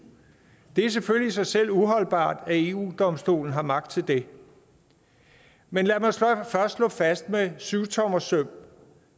det er selvfølgelig i sig selv uholdbart at eu domstolen har magt til det men lad mig først slå fast med syvtommersøm